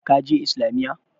Ka je Islamiyya?